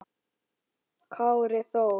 Kári Þór.